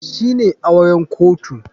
Shine auren kotu.